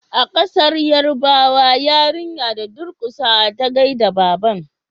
a kasar yarbawa yarinya da durkusawa ta gaida babban